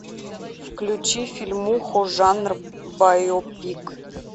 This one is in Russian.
включи фильмуху жанр байопик